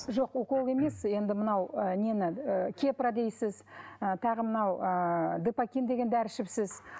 жоқ укол емес енді мынау ы нені ы кепра дейсіз ы тағы мынау ы депокин деген дәрі ішіпсіз